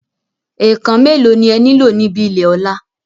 Ẹ̀ẹ̀kàn mẹ́ẹ̀ló ni e nílò níbi ilé Ọ̀la?